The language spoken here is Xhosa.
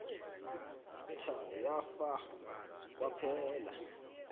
tha yafa kwaphela